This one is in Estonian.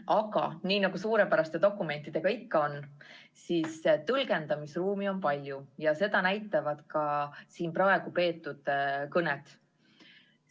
Aga nii nagu suurepäraste dokumentidega ikka, on tõlgendamisruumi palju ja seda näitavad ka siin peetud kõned.